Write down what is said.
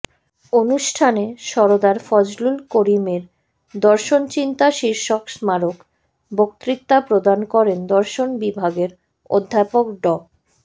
অনুষ্ঠানে সরদার ফজলুল করিমের দর্শনচিন্তা শীর্ষক স্মারক বক্তৃতা প্রদান করেন দর্শন বিভাগের অধ্যাপক ড